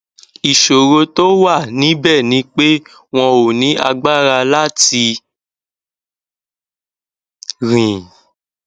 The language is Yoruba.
ìṣòro tó wà níbẹ ni pé wọn ò ní agbára láti rìn